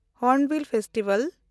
hornbill festival